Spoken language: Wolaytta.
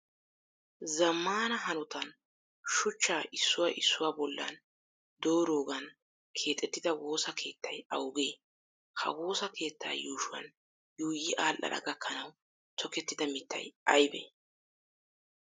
Zammaana hanotan shuchcha issuwaa issuwaa bollan doorogan keexettida wosa keettayi awaagee? Ha woosa keettaa yuushshuwan yuuyyi aadhdhana gakkanawu tokettida mittayi ayibee?